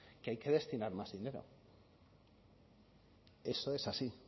que hay que destinar más dinero eso es así